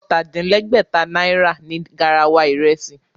Ọ̀tà-din-lẹ́gbẹ̀ta náírà ni garawa ìrẹsì